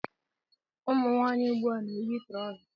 Ụmụnwanyị ugbua na- eyi trauzer